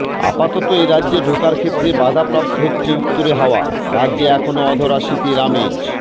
আপাতত এরাজ্যে ঢোকার ক্ষেত্রে বাধাপ্রাপ্ত হচ্ছে উত্তুরে হাওয়া রাজ্যে এখনও অধরা শীতের আমেজ